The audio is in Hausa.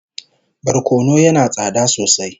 Barkono yana tsada sosai